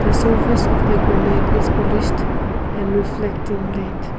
the service of the granite is finished and reflecting light.